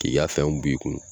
K'i y'a fɛnw b'u i kun.